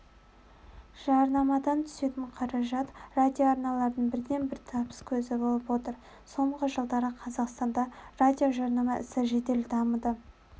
жарнамадан түсетін қаражат радиоарналардың бірден-бір табыс көзі болып отыр соңғы жылдары қазақстанда радиожарнама ісі жедел дамыды